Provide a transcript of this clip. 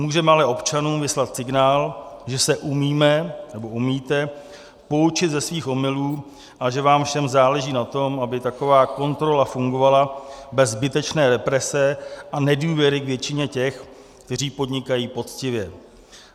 Můžeme ale občanům vyslat signál, že se umíme, nebo umíte poučit ze svých omylů a že vám všem záleží na tom, aby taková kontrola fungovala bez zbytečné represe a nedůvěry k většině těch, kteří podnikají poctivě.